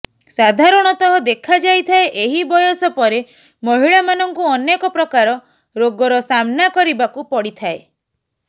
ସାଧାରଣତଃ ଦେଖାଯାଇଥାଏ ଏହି ବୟସ ପରେ ମହିଳାମାନଙ୍କୁ ଅନେକ ପ୍ରକାର ରୋଗର ସାମ୍ନା କରିବାକୁ ପଡ଼ିଥାଏ